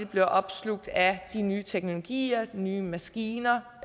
bliver opslugt af de nye teknologier de nye maskiner